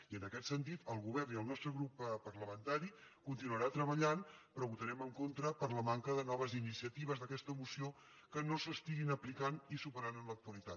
i en aquest sentit el govern i el nostre grup parlamentari continuarem treballant però votarem en contra per la manca de noves iniciatives d’aquesta moció que no s’estiguin aplicant i superant en l’actualitat